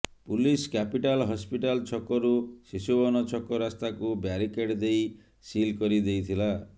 police capital hospital ଛକରୁ ଶିଶୁଭବନ ଛକ ରାସ୍ତାକୁ ବ୍ୟାରିକେଡ ଦେଇ ସିଲ କରି ଦେଇଥିଲା